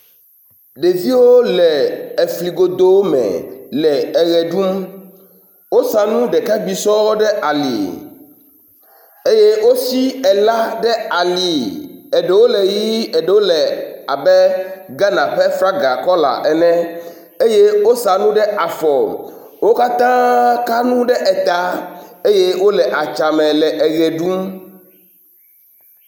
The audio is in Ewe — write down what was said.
Ɖeviwo le efli godo me le eʋe ɖum. Wosa nu ɖeka ŋgb sɔɔ ɖe ali eye wosi ela ɖe ali eɖewo le ʋie eɖewo le abe Ghana ƒe flaga kɔla ene eye wosa nu ɖe afɔ. Wo katã ka nu ɖe eta eye wo le adzame le eʋe ɖum.